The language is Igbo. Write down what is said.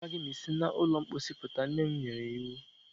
Saa aka gị ma i si na ụlọ mposi puta! Nne m nyere iwu.